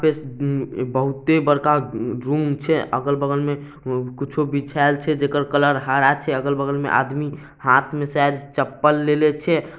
उम्म-बहुते बड़का उम-म-रूम छै अगल-बगल में कुछो बिछाएल छैजेकर कलर हरा छै अगल-बगल में आदमी हाथ मे शायद चप्पल लेले छै